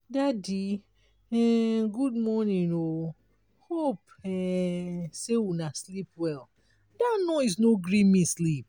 daddy um good morning o hope um um sey una sleep well. dat noise no gree me sleep.